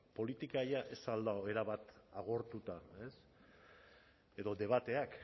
politika ja ez al dago erabat agortuta edo debateak